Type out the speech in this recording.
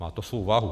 Má to svou váhu.